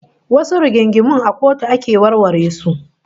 Wasu rigingimun a kotu ake warware su